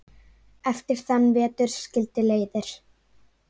Eftir þann vetur skildi leiðir.